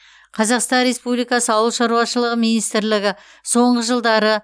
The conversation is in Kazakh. қазақстан ресупбликасы ауылшаруашылық министрлігі соңғы жылдары